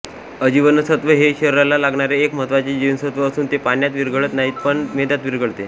अजीवनसत्त्व हे शरिराला लागणारे एक महत्त्वाचे जीवनसत्त्व असून ते पाण्यात विरघळत नाही पण मेदात विरघळते